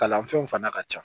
Kalan fɛnw fana ka ca